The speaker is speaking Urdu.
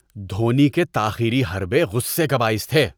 دھونی کے تاخیری حربے غصے کا باعث تھے۔